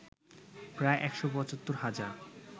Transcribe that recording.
প্রায় ১৭৫ হাজার